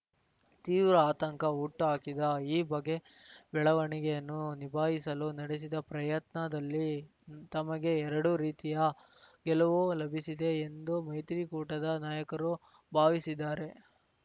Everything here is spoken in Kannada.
ತೀವ್ರ ಆತಂಕ ಹುಟ್ಟುಹಾಕಿದ ಈ ಬಗೆ ಬೆಳವಣಿಗೆಯನ್ನು ನಿಭಾಯಿಸಲು ನಡೆಸಿದ ಪ್ರಯತ್ನದಲ್ಲಿ ತಮಗೆ ಎರಡು ರೀತಿಯ ಗೆಲುವು ಲಭಿಸಿದೆ ಎಂದೇ ಮೈತ್ರಿಕೂಟದ ನಾಯಕರು ಭಾವಿಸಿದ್ದಾರೆ